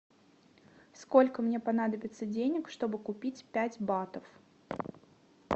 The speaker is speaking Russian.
сколько мне понадобится денег чтобы купить пять батов